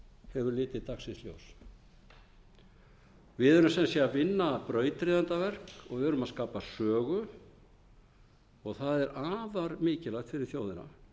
hefur litið dagsins ljós við erum sem sé að vinna brauðryðjendaverk og við erum að skapa sögu það er afar mikilvægt fyrir þjóðina